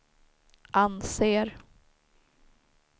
anser